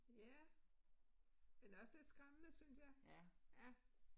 Ja. Men også lidt skræmmende synes jeg. Ja